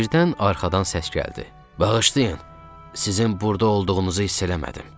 Birdən arxadan səs gəldi: Bağışlayın, sizin burda olduğunuzu hiss eləmədim.